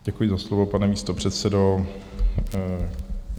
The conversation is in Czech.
Děkuji za slovo, pane místopředsedo.